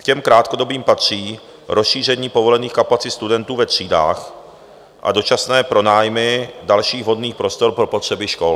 K těm krátkodobým patří rozšíření povolených kapacit studentů ve třídách a dočasné pronájmy dalších vhodných prostor pro potřeby škol.